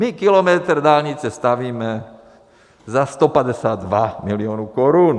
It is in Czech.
My kilometr dálnice stavíme za 152 milionů korun.